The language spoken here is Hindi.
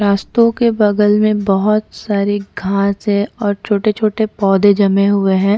रास्तों के बगल में बहोत सारे घास है और छोटे-छोटे पौधे जमे हुए है।